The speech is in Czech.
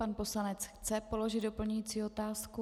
Pan poslanec chce položit doplňující otázku.